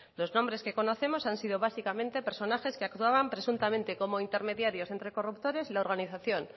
los nombres que conocemos han sido básicamente personajes que actuaban presuntamente como intermediarios ente corruptores y la organización